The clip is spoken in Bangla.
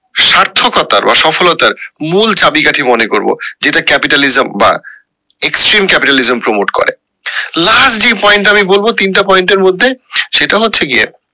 সার্থকতার বা সফলতার মূল চাবিকাঠি মনে করবো এইটা capitalism বা exchange capitalism promote করে last যে point টা আমি বলবো তিনটা point এর মধ্যে সেটা হচ্ছে গিয়ে